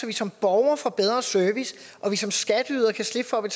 vi som borgere får bedre service og som skatteydere kan slippe for at